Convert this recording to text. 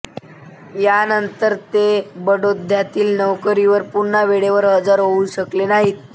यानंतर ते बडोद्यातील नोकरीवर पुन्हा वेळेवर हजर होऊ शकले नाहीत